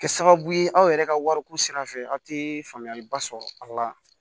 Kɛ sababu ye aw yɛrɛ ka wariko sira fɛ aw tɛ faamuyaliba sɔrɔ a la